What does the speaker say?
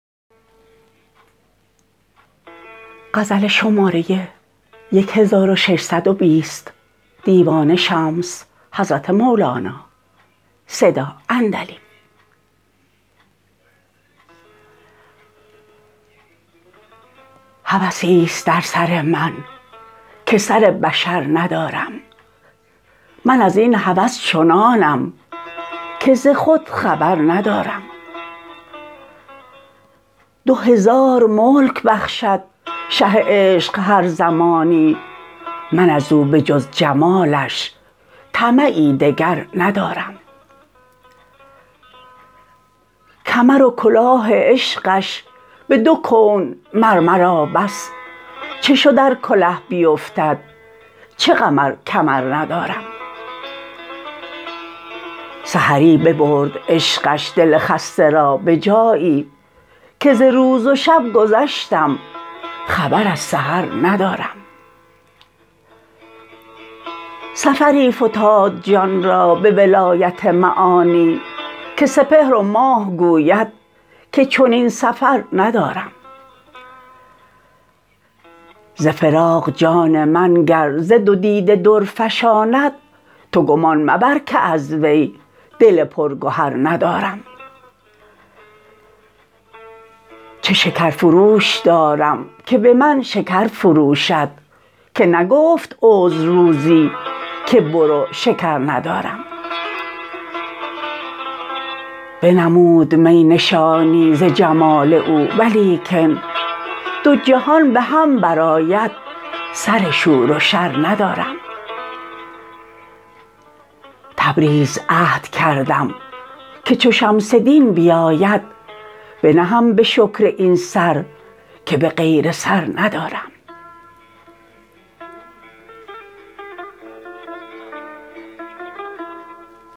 هوسی است در سر من که سر بشر ندارم من از این هوس چنانم که ز خود خبر ندارم دو هزار ملک بخشد شه عشق هر زمانی من از او به جز جمالش طمعی دگر ندارم کمر و کلاه عشقش به دو کون مر مرا بس چه شد ار کله بیفتد چه غم ار کمر ندارم سحری ببرد عشقش دل خسته را به جایی که ز روز و شب گذشتم خبر از سحر ندارم سفری فتاد جان را به ولایت معانی که سپهر و ماه گوید که چنین سفر ندارم ز فراق جان من گر ز دو دیده در فشاند تو گمان مبر که از وی دل پرگهر ندارم چه شکرفروش دارم که به من شکر فروشد که نگفت عذر روزی که برو شکر ندارم بنمودمی نشانی ز جمال او ولیکن دو جهان به هم برآید سر شور و شر ندارم تبریز عهد کردم که چو شمس دین بیاید بنهم به شکر این سر که به غیر سر ندارم